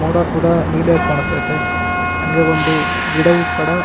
ಮೋಡ ಕೂಡ ನೀಲಿ ಆಗಿ ಕಾಣಿಸ್ತಾ ಐತೆ ಹಂಗೆ ಒಂದು ಗಿಡವು ಕೂಡ --